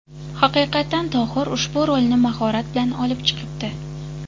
Haqiqatan Tohir ushbu rolni mahorat bilan olib chiqibdi.